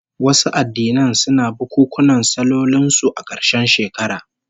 Wasu addinan suna bukunkunan sallolin su a karshen shekara